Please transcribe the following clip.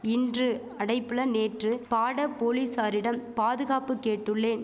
இன்று அடைபுல நேற்று பாட போலீசாரிடம் பாதுகாப்பு கேட்டுள்ளேன்